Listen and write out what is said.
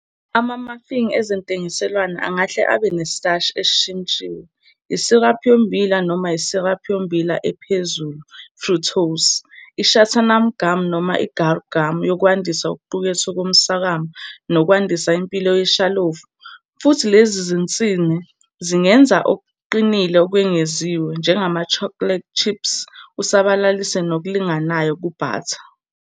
Ama-muffin ezentengiselwano angahle abe "nesitashi esishintshiwe", isiraphu yommbila, noma isiraphu yommbila ephezulu-fructose, i-xanthan gum, noma i-guar gum yokwandisa okuqukethwe komswakama nokwandisa impilo yeshalofu, futhi, lezi zinsini zingenza okuqinile okwengeziwe, njengama-chocolate chips, usabalalise ngokulinganayo ku-batter.